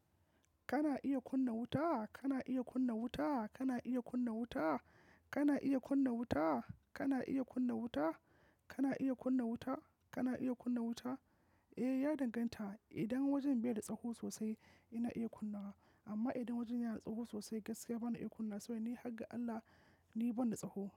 Kana iya kunna wuta? Kana iya kunna wuta? Kana iya kunna wuta? Kana iya kunna wuta? Kana iya kunna wuta? Kana iya kunna wuta? Kana iya kunna wuta? Eh, ya danganta. Idan wajen bai da tsaho sosai, ina iya kunna. Amma idan wajen yana da tsaho sosai, gaskiya bana iya kunna wa saboda ni hagga Allah ni ban da tsaho.